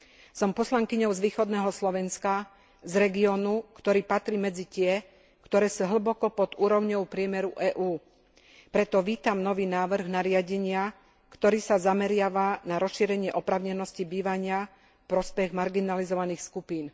Som poslankyňou z východného Slovenska, z regiónu, ktorý patrí medzi tie, ktoré sú hlboko pod úrovňou priemeru EÚ. Preto vítam nový návrh nariadenia, ktorý sa zameriava na rozšírenie oprávnenosti bývania v prospech marginalizovaných skupín.